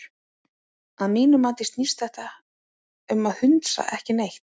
Að mínu mati snýst þetta um hundsa ekki neitt.